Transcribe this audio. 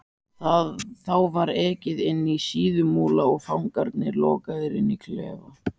Þá var ekið inní Síðumúla og fangarnir lokaðir inní klefa.